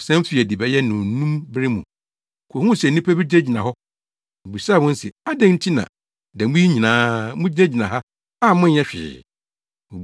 Ɔsan fii adi bɛyɛ nnɔnnum bere mu, kohuu sɛ nnipa bi gyinagyina hɔ. Obisaa wɔn se, ‘Adɛn nti na da mu yi nyinaa mugyinagyina ha a monyɛ hwee?’